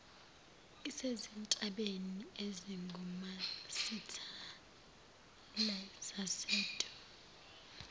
isezintabeni ezingumasithela zasedumbe